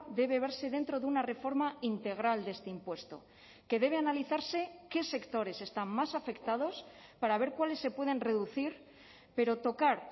debe verse dentro de una reforma integral de este impuesto que debe analizarse qué sectores están más afectados para ver cuáles se pueden reducir pero tocar